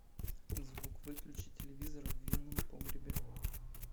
звук выключи телевизора в винном погребе